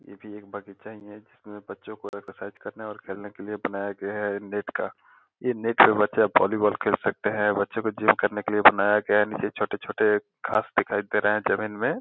ये भी एक बगीचा ही है जिसमें बच्चों को एक्सरसाइज और खेलने के लिए बनाया गया है नेट का ये नेट से बच्चे अब वॉलीबॉल खेल सकते हैं। बच्चों को जिम करने के लिए बनाया गया है। नीचे छोटे छोटे घास दिखाई दे रहा है जमीन में।